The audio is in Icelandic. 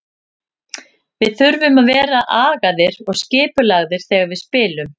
Við þurfum að vera agaðir og skipulagðir þegar við spilum.